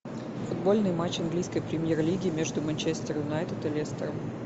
футбольный матч английской премьер лиги между манчестер юнайтед и лестером